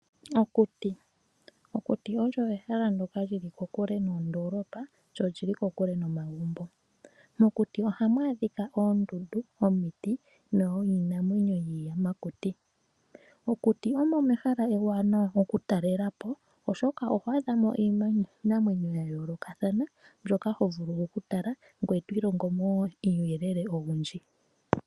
Okuti Okuti olyo ehala ndyoka lyi li kokule noondoolopa lyo lyi li kokule nomagumbo. Mokuti ohamu adhika oondundu ,omiti niinamwenyo yiiyamakuti. Okuti omo mehala ewanawa oku talelapo, oshoka oho adhamo iinamwenyo ya yoolokathana mbyoka ho vulu okutala ngweye to ilongo mo wo uuyelele owundji.